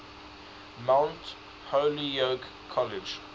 mount holyoke college